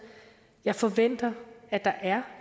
jeg forventer at der er